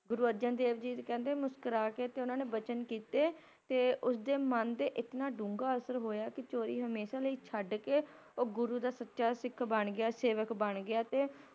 ਗੁਰੂ ਅਰਜਨ ਦੇਵ ਜੀ ਕਹਿੰਦੇ ਮੁਸਕੁਰਾ ਕੇ ਤੇ ਓਹਨਾ ਨੇ ਬਚਨ ਕੀਤੇ, ਤੇ ਉਸਦੇ ਮਨ ਤੇ ਇਤਨਾਂ ਡੂੰਘਾ ਅਸਰ ਹੋਇਆ ਕਿ ਚੋਰੀ ਹਮੇਸ਼ਾ ਲਈ ਛੱਡ ਕੇ ਓਹ ਗੁਰੂ ਦਾ ਸੱਚਾ ਸਿੱਖ ਬਣ ਗਿਆ, ‌‌ ਸੇਵਕ ਬਣ ਗਿਆ ਤੇ